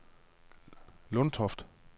Lundtoft